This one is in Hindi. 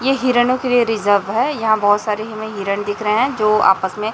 ये हिरणों के लिए रिजर्व है। यहां बहोत सारे हिमे हिरण दिख रहे है जो आपस में--